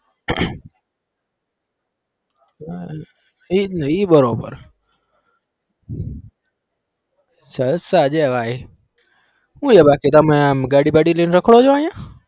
એ જ ને ઈ બરોબર જલસા છે ભાઈ હુ છે બાકી તમે આમ ગાડી બાડી લઇ ને રખડો છો અહીંયા?